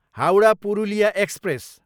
Howrah, Purulia express